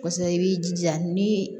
Kɔsa i b'i jija nii